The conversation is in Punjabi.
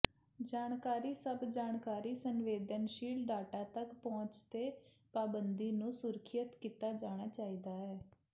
ਜਾਣਕਾਰੀ ਸਭ ਜਾਣਕਾਰੀ ਸੰਵੇਦਨਸ਼ੀਲ ਡਾਟਾ ਤੱਕ ਪਹੁੰਚ ਤੇ ਪਾਬੰਦੀ ਨੂੰ ਸੁਰੱਖਿਅਤ ਕੀਤਾ ਜਾਣਾ ਚਾਹੀਦਾ ਹੈ